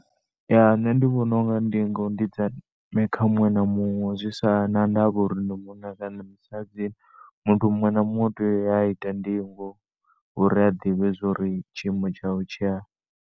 Ya, nṋe ndi vhona ndingo ndi dza ndeme kha muṅwe na muṅwe zwi si na ndavha uri ndi munna kana ndi musadzi muthu muṅwe na muṅwe u tea u ya a yo ita ndingo uri a ḓivhe zwori tshiimo tshawe tshi hani.